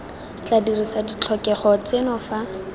tla dirisa ditlhokego tseno fa